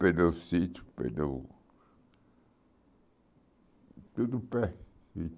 perdeu sítio perdeu, tudo perdido.